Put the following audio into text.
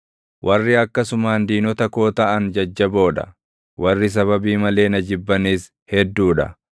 Warri akkasumaan diinota koo taʼan jajjaboo dha; warri sababii malee na jibbanis hedduu dha.